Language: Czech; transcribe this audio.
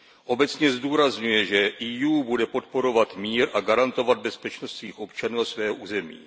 Obecně zdůrazňuje, že EU bude podporovat mír a garantovat bezpečnost svých občanů a svého území.